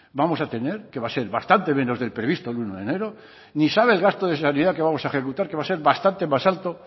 vamos a tener que va a ser bastante menos del previsto el uno de enero ni sabe el gasto de sanidad que vamos a ejecutar que va a ser bastante más alto